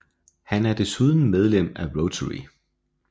Han er desuden medlem af Rotary